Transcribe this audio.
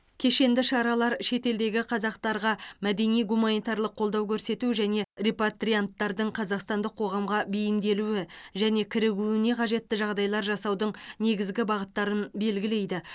кешенді шаралар шетелдегі қазақтарға мәдени гуманитарлық қолдау көрсету және репатрианттардың қазақстандық қоғамға бейімделуі және кірігуіне қажетті жағдайлар жасаудың негізгі бағыттарын белгілейді